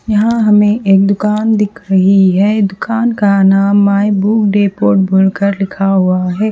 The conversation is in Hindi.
यहा हमे एक दुकान दिख रही है दुकान का नाम माय बुक लिखा हुआ है।